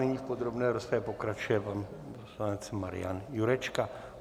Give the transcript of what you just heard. Nyní v podrobné rozpravě pokračuje pan poslanec Marian Jurečka.